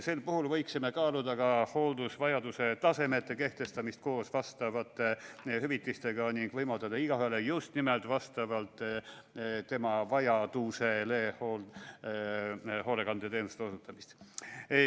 Sel puhul võiksime kaaluda ka hooldusvajaduse tasemete kehtestamist koos vastavate hüvitistega ning võimaldada igaühele just nimelt vastavalt tema vajadusele hoolekandeteenuste osutamist.